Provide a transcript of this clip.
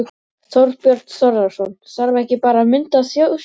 Þorbjörn Þórðarson: Þarf ekki bara að mynda þjóðstjórn?